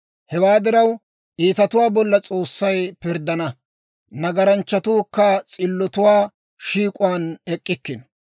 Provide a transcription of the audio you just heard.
Hewaa diraw, iitatuwaa bolla S'oossay pirddana; nagaranchchatuukka s'illotuwaa shiik'uwaan ek'k'ikkino.